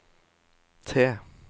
T